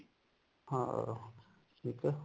ਹਾਂ ਠੀਕ ਐ